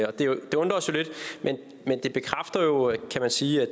det det undrer os jo lidt men det bekræfter jo kan man sige at